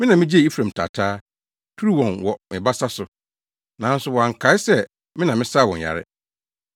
Me na migyigyee Efraim taataa, turuu wɔn wɔ me basa so; nanso wɔnkae sɛ me na mesaa wɔn yare.